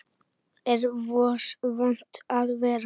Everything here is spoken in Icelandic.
Hér var vont að vera.